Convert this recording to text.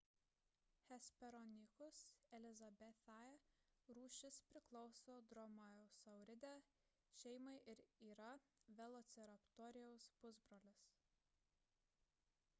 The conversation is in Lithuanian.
hesperonychus elizabethae rūšis priklauso dromaeosauridae šeimai ir yra velociraptoriaus pusbrolis